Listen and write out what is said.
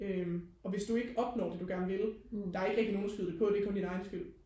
øhm og hvis du ikke opnår det du vil der er ikke rigtig nogen at skyde det på det er kun din egen skyld